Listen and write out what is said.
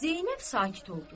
Zeynəb sakit oldu.